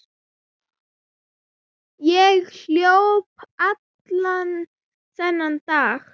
Ég hljóp allan þennan dag.